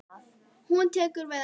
Hún tekur við henni.